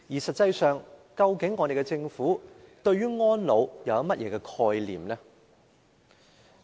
實際上，究竟我們的政府對安老有何概念？